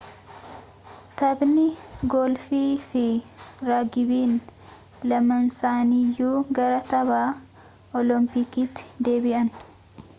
taphni goolfii fi raagbin lamansaaniyyu gara tapha oloompikiitti deebi'aan